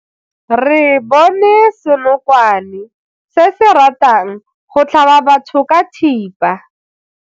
Re bone senokwane se se ratang go tlhaba batho ka thipa.